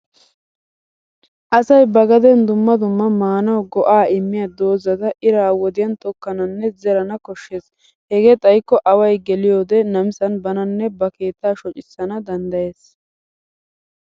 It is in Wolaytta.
Asay ba gaden dumma dumma maanawu go'aa immiya doozzata ira wodiyan tokkananne zerana koshshes. Hegee xayikko away geliyoode namisan bananne ba keettaa shocissana danddayes.